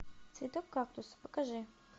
цветок кактус покажи